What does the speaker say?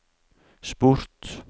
sport